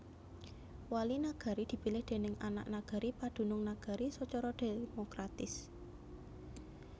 Wali Nagari dipilih déning anak nagari padunung nagari sacara demokratis